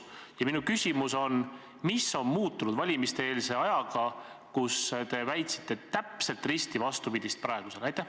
Ja minu küsimus on: mis on muutunud valimiseelse ajaga, kui te väitsite täpselt risti vastupidist praegusele?